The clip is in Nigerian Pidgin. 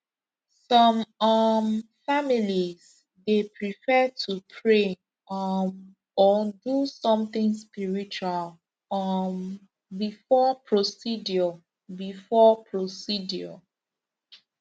some um families dey prefer to pray um or do something spiritual um before procedure before procedure